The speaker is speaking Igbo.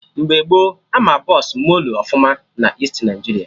Mgbe gboo Ama Bọsụ moolue ọfụma na Easti Naịjiria